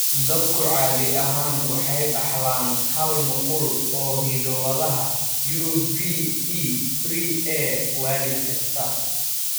Dadku caadi ahaan waxay dhaxlaan hal nuqul oo hiddo-wadaha UBE3A waalid kasta.